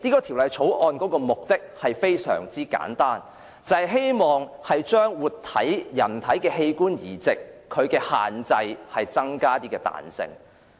《條例草案》的目的非常簡單：為人體活體器官移植的限制增加彈性。